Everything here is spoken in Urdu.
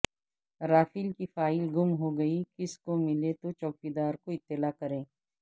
رافیل کی فائل گم ہوگئی کسی کو ملے تو چوکیدار کو اطلاع کریں